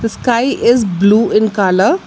The sky is blue in colour.